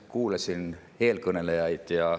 Kuulasin eelkõnelejaid.